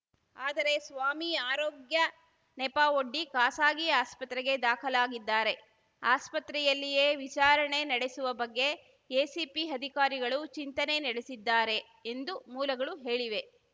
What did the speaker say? ಆದರೆ ಸ್ವಾಮಿ ಆರೋಗ್ಯ ನೆಪವೊಡ್ಡಿ ಖಾಸಾಗಿ ಆಸ್ಪತ್ರೆಗೆ ದಾಖಲಾಗಿದ್ದಾರೆ ಆಸ್ಪತ್ರೆಯಲ್ಲಿಯೇ ವಿಚಾರಣೆ ನಡೆಸುವ ಬಗ್ಗೆ ಎಸಿಪಿ ಅಧಿಕಾರಿಗಳು ಚಿಂತನೆ ನಡೆಸಿದ್ದಾರೆ ಎಂದು ಮೂಲಗಳು ಹೇಳಿವೆ